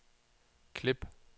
klip